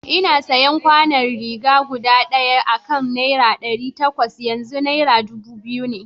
Ina sayan kwanon ciga guda ɗaya akan nera ɗari takwas, yanzu nera dubu biyu ne.